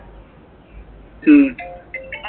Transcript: ഉം